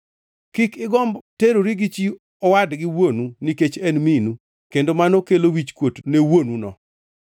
“ ‘Kik igomb terori gi chi owadgi wuonu nikech en minu, kendo mano kelo wichkuot ne wuonuno.